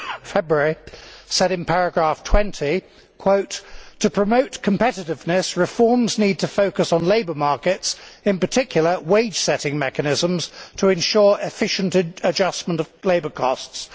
February said in paragraph 20, and I quote, to promote competitiveness, reforms need to focus on labour markets, in particular wage setting mechanisms to ensure efficient adjustment of labour costs'.